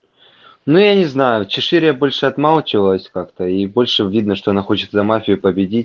ну я не знаю чешире больше отмачивать как-то и больше видно что она хочет за мафию победить